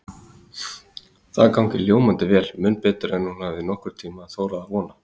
Það gangi ljómandi vel, mun betur en hún hafi nokkurn tíma þorað að vona.